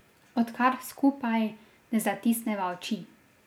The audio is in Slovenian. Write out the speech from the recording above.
Odkar skupaj ne zatisneva oči.